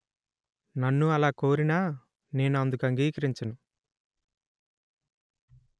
నన్ను అలా కోరినా నేను అందుకు అంగీకరించను